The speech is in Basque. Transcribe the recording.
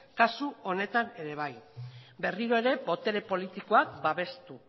kasu honetan ere bai berriro ere botere politikoak babestu